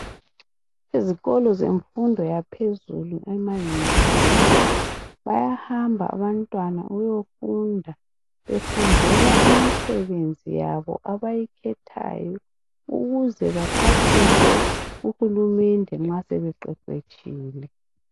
ezikolo zemfundo yaphezulu ema univesithi abantwana bayahamba abantwana ukuyofunda befundela imisebenzi yabo abayikhethileyo ukuze baphathise uhulumende nxasebe qheqhetshile